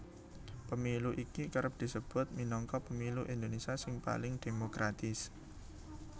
Pemilu iki kerep disebut minangka pemilu Indonésia sing paling dhémokratis